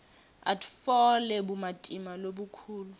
atfole bumatima lobukhulu